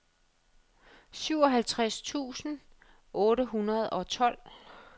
syvoghalvtreds tusind otte hundrede og tolv